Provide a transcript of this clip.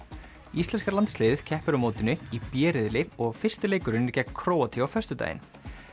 íslenska landsliðið keppir á mótinu í b riðli og fyrsti leikurinn er gegn Króatíu á föstudaginn